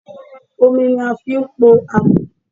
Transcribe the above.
Omi ni a fi ń pò àmọ́.